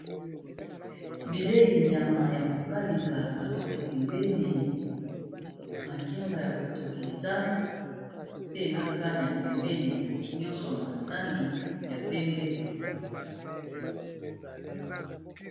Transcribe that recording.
Bileyi nyama ya ko kalinga, carote pembeni, makemba ya ko tokisa, pe na kania pembeni, nyonso na sani ya pembe.